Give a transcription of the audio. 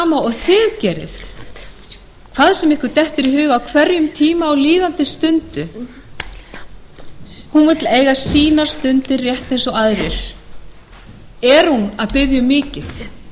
og þið gerið hvað sem ykkur dettur í hug á hverjum tíma á líðandi stundu hún vill eiga sínar stundir rétt eins og aðrir er hún að biðja um mikið þurftuð þið